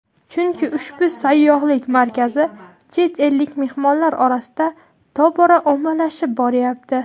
chunki ushbu sayyohlik markazi chet ellik mehmonlar orasida tobora ommalashib boryapti.